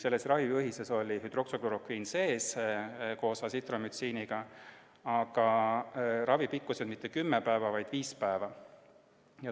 Selles ravijuhises oli sees hüdroksüklorokviin koos Azithromyciniga, aga ravi pikkus ei olnud mitte kümme, vaid viis päeva.